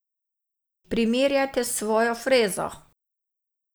Primerjajte s svojo frezo.